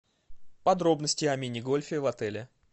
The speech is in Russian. подробности о мини гольфе в отеле